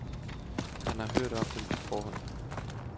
Alle har hørt om dem på forhånd.